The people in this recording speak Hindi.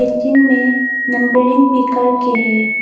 जिनमे नंबरिंग भी करके हैं।